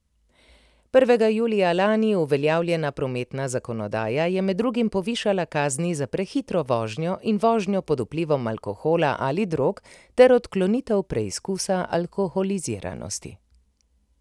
Prvega julija lani uveljavljena prometna zakonodaja je med drugim povišala kazni za prehitro vožnjo in vožnjo pod vplivom alkohola ali drog ter odklonitev preizkusa alkoholiziranosti.